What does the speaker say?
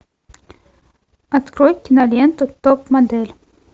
открой киноленту топ модель